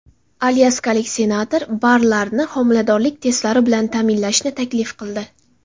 Alyaskalik senator barlarni homiladorlik testlari bilan ta’minlashni taklif qildi.